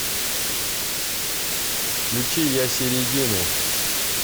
включи ясередину